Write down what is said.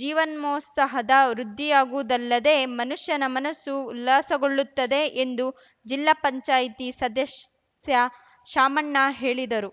ಜೀವನೋತ್ಸಾಹದ ವೃದ್ಧಿಯಾಗುವುದಲ್ಲದೆ ಮನುಷ್ಯನ ಮನಸ್ಸು ಉಲ್ಲಾಸಗೊಳ್ಳುತ್ತದೆ ಎಂದು ಜಿಲ್ಲಾ ಪಂಚಾಯ್ತಿ ಸದಸ್ಯ ಶಾಮಣ್ಣ ಹೇಳಿದರು